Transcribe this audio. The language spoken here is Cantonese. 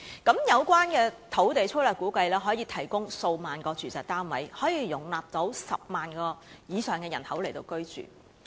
粗略估計，有關土地可以提供數萬個住宅單位，容納10萬以上人口居住。